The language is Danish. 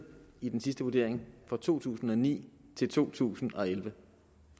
i den sidste vurdering fra to tusind og ni til to tusind og elleve